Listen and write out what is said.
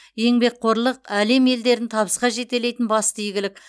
еңбекқорлық әлем елдерін табысқа жетелейтін басты игілік